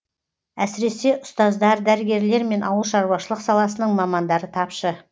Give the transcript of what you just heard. әсіресе ұстаздар дәрігерлер мен ауылшаруашылық саласының мамандары тапшы